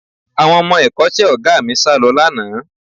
Àwọn ọmọ ẹ̀kọ́ṣẹ́ Ọ̀gá mi sálọ lánàá